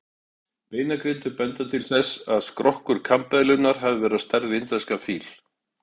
Beinagrindur benda til þess að skrokkur kambeðlunnar hafi verið á stærð við indverskan fíl.